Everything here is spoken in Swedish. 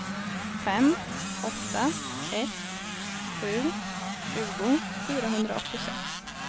fem åtta ett sju tjugo fyrahundraåttiosex